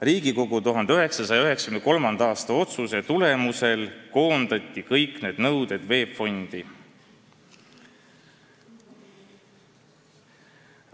Riigikogu 1993. aasta otsuse tulemusel koondati kõik need nõuded VEB Fondi.